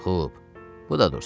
Xub, bu da dursun.